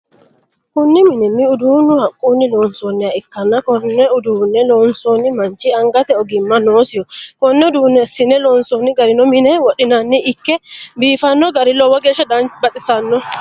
Kunni minni uduunni haqunni loonsoonniha ikanna konne uduune loosano manchi angate ogimma noosiho. Konne uduune asine loonsoonni garinna mine wodhinniro Ike biifano gari lowo geesha baxisano.